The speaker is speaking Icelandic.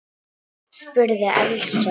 spurði Elsa.